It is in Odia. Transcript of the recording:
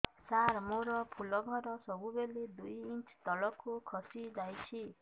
ସାର ମୋର ଫୁଲ ଘର ସବୁ ବେଳେ ଦୁଇ ଇଞ୍ଚ ତଳକୁ ଖସି ଆସିଛି